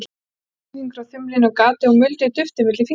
Tróð vísifingri og þumli inn um gatið og muldi duftið milli fingranna.